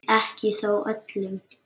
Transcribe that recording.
Ekki þó öllum.